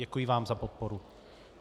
Děkuji vám za podporu.